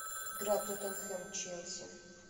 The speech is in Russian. игра тоттенхэм челси